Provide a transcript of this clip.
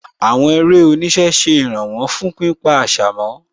Àwọn eré oníṣẹ́ ṣe ìràwọ̀ fún pípa àṣà mọ́